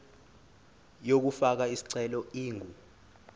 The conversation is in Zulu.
yokufaka isicelo ingu